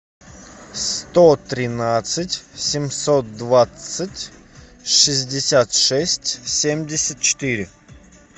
сто тринадцать семьсот двадцать шестьдесят шесть семьдесят четыре